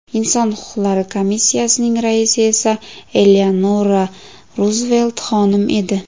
Inson huquqlari komissiyasining raisi esa Eleanora Ruzvelt xonim edi.